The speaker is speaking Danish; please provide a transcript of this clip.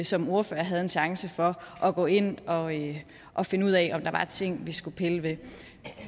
som ordførere havde en chance for at gå ind og ind og finde ud af om der var ting vi skulle pille ved